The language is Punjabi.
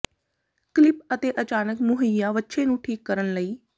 ਕਲਿੱਪ ਅਤੇ ਅਚਾਨਕ ਮੁਹੱਈਆ ਵੱਛੇ ਨੂੰ ਠੀਕ ਕਰਨ ਲਈ